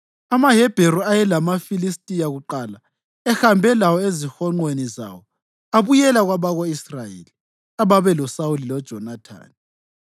AmaHebheru ayelamaFilistiya kuqala ehambe lawo ezihonqweni zawo abuyela kwabako-Israyeli ababeloSawuli loJonathani.